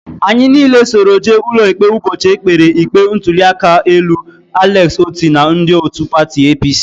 Anyị niile soro jee n'ụlọikpe ụbọchị e kpere ikpe ntụliaka elu Alex Otti na ndị otu pati APC